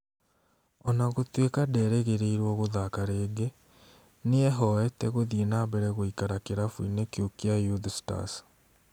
Ona gũtuĩka nderĩgĩrĩirwo gũthaka rĩngĩ, nĩehoete gũthiĩ na mbere gũikara kĩrabu-inĩ kĩu kĩa Youth Stars